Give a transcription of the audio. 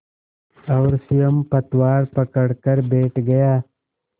और स्वयं पतवार पकड़कर बैठ गया